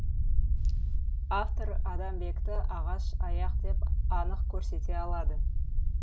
автор адамбекті ағаш аяқ деп анық көрсете алады